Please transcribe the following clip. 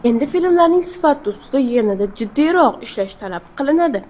Endi filmlarning sifati ustida yanada jiddiyroq ishlash talab qilinadi.